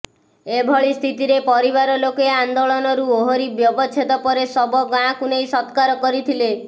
ଏଭଳି ସ୍ଥିତିରେ ପରିବାର ଲୋକେ ଆନ୍ଦୋଳନରୁ ଓହରି ବ୍ୟବଚ୍ଛେଦ ପରେ ଶବ ଗାଁକୁ ନେଇ ସତ୍କାର କରିଥିଲେ